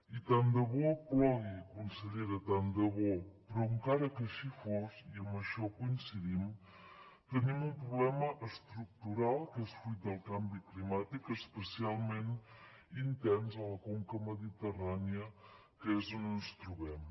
i tant de bo plogui consellera tant de bo però encara que així fos i amb això coincidim tenim un problema estructural que és fruit del canvi climàtic especialment intens a la conca mediterrània que és on ens trobem